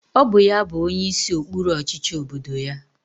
Ọ bụ ya bụ onyeisi okpuru ọchịchị obodo ya.